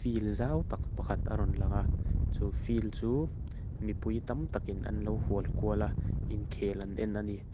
field zau tak pakhat a rawn langa chu field chu mipui tam takin an lo hual kual a inkhel an en a ni.